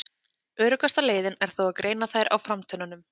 Öruggasta leiðin er þó að greina þær á framtönnunum.